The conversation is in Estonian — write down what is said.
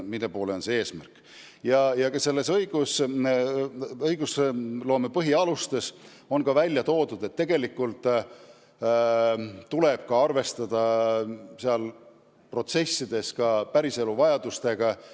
Nendes õigusloome põhialustes on välja toodud, et tegelikult tuleb protsesse ellu viies arvestada ka päriselu vajadustega.